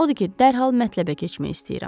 Odur ki, dərhal mətləbə keçmək istəyirəm.